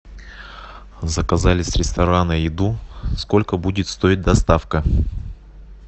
заказали с ресторана еду сколько будет стоить доставка